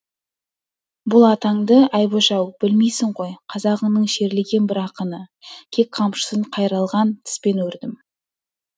бұл атаңды айбөш ау білмейсің ғой қазағыңның шерлеген бір ақыны кек қамшысын қайралған тіспен өрдім